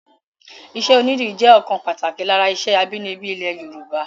Iṣẹ́ onídìrí jẹ́ ọ̀kan pàtàkì lára iṣẹ́ abínibí ilẹ̀ Yorùbá